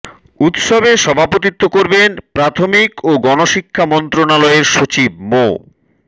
উৎসবে সভাপতিত্ব করবেন প্রাথমিক ও গণশিক্ষা মন্ত্রণালয়ের সচিব মো